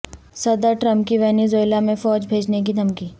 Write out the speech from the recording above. صدر ٹرمپ کی ونیزویلا میں فوج بھیجنے کی دھمکی